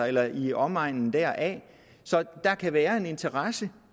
eller i omegnen deraf så der kan være en interesse